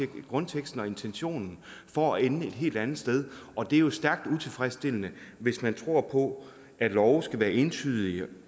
grundteksten og intentionen for at ende et helt andet sted og det er jo stærkt utilfredsstillende hvis man tror på at love skal være entydige